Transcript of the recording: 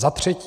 Za třetí.